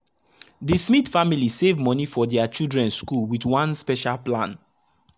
the smith family save money for their children school with one special plan.